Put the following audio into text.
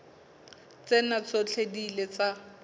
tsena tsohle di ile tsa